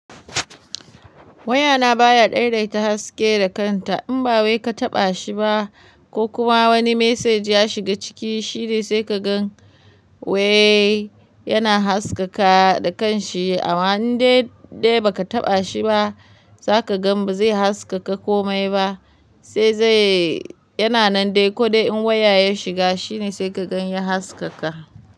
Wayana baya daidaita haske da kanta in ba wai ka taɓa shi ba ko kuma wani message ya shiga ciki shine sai ka gan way yana haskaka da kanshi. Amma in dai ba ka taɓa shi ba zaka gan bazai haskaka komai ba sai zai yana nan dai ko dai in waya ya shiga shine sai ka gan ya haskaka.